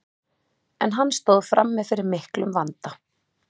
en hann stóð frammi fyrir miklum vanda